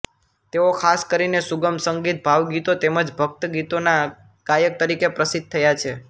તેઓ ખાસ કરીને સુગમ સંગીત ભાવગીતો તેમ જ ભક્તિગીતોના ગાયક તરીકે પ્રસિદ્ધ થયા છે